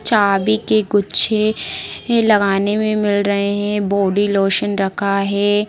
चाबी के गुच्छे लगाने में मिल रहे है बॉडी लोशन रखा है।